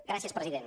gràcies president